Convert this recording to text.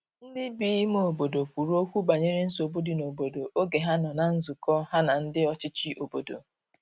ndi bi ime obodo kwuru okwu banyere nsogbu di n'obodo oge ha nọ na nzukọ ha na ndi ọchichi obodo